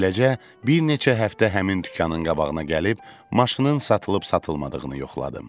Beləcə, bir neçə həftə həmin dükanın qabağına gəlib maşının satılıb-satılmadığını yoxladım.